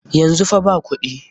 Yanzu fa ba kuɗi.